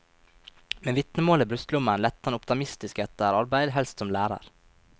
Med vitnemålet i brystlommen lette han optimistisk etter arbeid, helst som lærer.